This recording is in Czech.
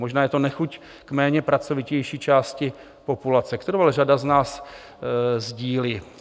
Možná je to nechuť k méně pracovitější části populace, kterou ale řada z nás sdílí.